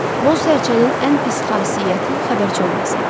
Boz sərçənin ən pis xasiyyəti xəbərçi olması idi.